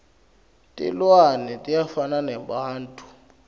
tilwane tiyafana nebantfu